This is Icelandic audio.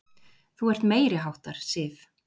Þú ert meiriháttar, Sif!